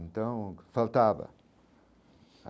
Então faltava.